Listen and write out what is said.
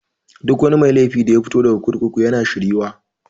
Duk mai laifi daya fito daga kurkuku yana shir yuwa.